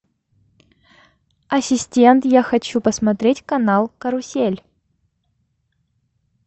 ассистент я хочу посмотреть канал карусель